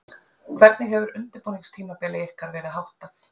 Hvernig hefur undirbúningstímabili ykkar verið háttað?